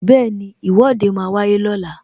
Bẹẹni, Ìwọ́de máa wáyé lọ́la